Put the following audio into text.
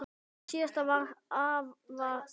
Síðasta ár var afa erfitt.